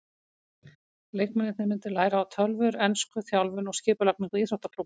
Leikmennirnir myndu læra á tölvur, ensku, þjálfun og skipulagningu íþróttaklúbba.